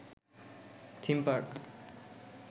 theme park